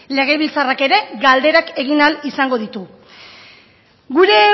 legebiltzarrak ere galderak egin ahal izango ditu gure